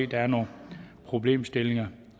der er nogle problemstillinger